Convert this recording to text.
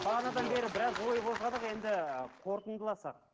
бағанадан бері біраз ой қозғадық енді қорытындыласақ